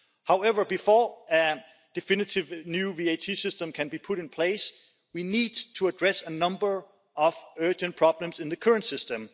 However, before a definitive new VAT system can be put in place, we need to address a number of urgent problems in the current system.